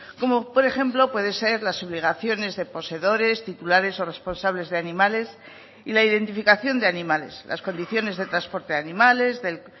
como por ejemplo puede ser las obligaciones de poseedores titulares o responsables de animales y la identificación de animales las condiciones de transporte de animales del